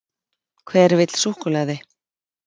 Hver vill súkkulaði?